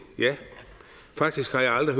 ja faktisk har jeg aldrig